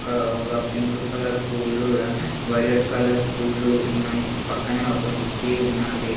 ఇడ ఒక pink colour పూలు ల వైలెట్ కలర్ పూలు ఉన్నాయి పక్కనే ఒక కుర్చీ ఉన్నాది.